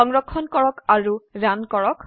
সংৰক্ষণ কৰক আৰু ৰান কৰক